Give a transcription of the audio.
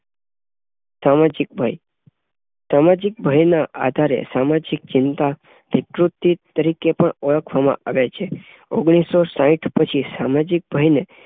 સામાજિક ભય~સામાજિક ભયના આધારે સામાજિક ચિંતા વિકૃતિ તરીકે પણ ઓળખવામાં આવે છે. ઓગણીસો સાઈઠ પછી સામાજિક ભયને